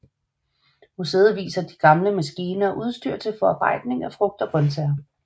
Museet viser mange gamle maskiner og udstyr til forarbejdning af frugt og grøntsager